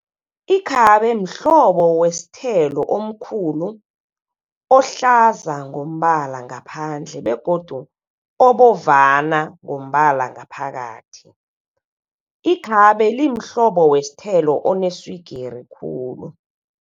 Ikhabe mhlobo westhelo omkhulu, ohlaza ngombala ngaphandle begodu obovana ngombala ngaphakathi. Ikhabe limhlobo westhelo oneswigiri khulu.